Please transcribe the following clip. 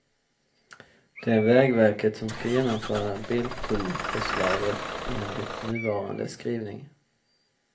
Det är vägverket som ska genomföra biltullförslaget enligt nuvarande skrivning.